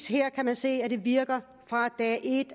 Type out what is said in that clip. her kan man sige at det virker fra dag et